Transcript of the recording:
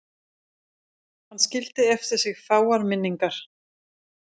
Hann skildi eftir sig fáar minningar.